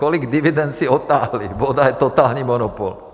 Kolik dividend si odtáhli, voda je totální monopol.